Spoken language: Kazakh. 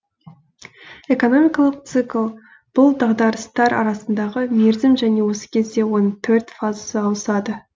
экономикалық цикл бұл дағдарыстар арасындағы мерзім және осы кезде оның төрт фазасы ауысады